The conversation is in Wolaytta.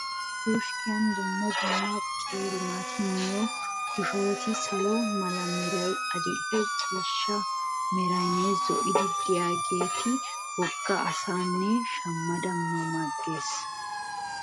Koskkiyan dumma dumma qeeri naati miyo koshoroti salo mala meray, adil'e ciishsha meraynne zo'oy diyageeti wogga assaanne shammada mama ges.